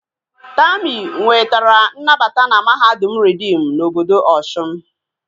Tami nwetara nnabata na mahadum reedim na obodo Osun